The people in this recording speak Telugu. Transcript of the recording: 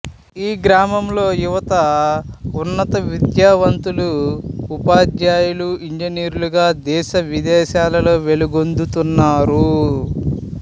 ఈ గ్రామంలో యువత ఉన్నత విద్యావంతులు ఉపాద్యాయులు ఇంజినీర్లుగా దేశ విదేశాలలో వెలుగొందుతున్నారు